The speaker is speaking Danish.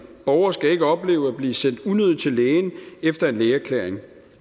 borgere skal ikke opleve at blive sendt unødig til lægen efter en lægeerklæring